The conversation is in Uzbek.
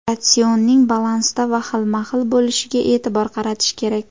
Ratsionning balansda va xilma-xil bo‘lishiga e’tibor qaratish kerak.